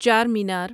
چار مینار